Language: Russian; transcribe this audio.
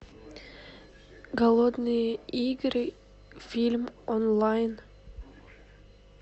голодные игры фильм онлайн